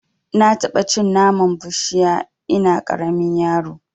Na taɓa cin naman bushiya ina ƙaramin yaro